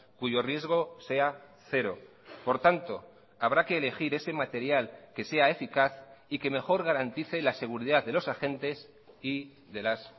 cuyo riesgo sea cero por tanto habrá que elegir ese material que sea eficaz y que mejor garantice la seguridad de los agentes y de las